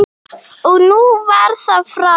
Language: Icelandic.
Og nú var það frá.